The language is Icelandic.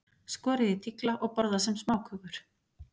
Skorið í tigla og borðað sem smákökur.